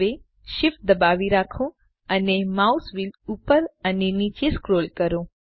હવે શિફ્ટ દબાવી રાખો અને માઉસ વ્હીલ ઉપર અને નીચે સ્ક્રોલ કરો